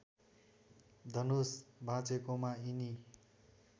धनुष भाचेकोमा यिनी